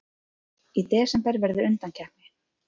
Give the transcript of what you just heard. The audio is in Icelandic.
Í desember verður undankeppni.